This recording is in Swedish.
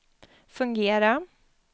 fungera